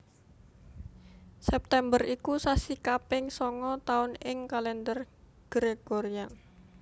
September iku sasi kaping sanga taun ing Kalendher Gregorian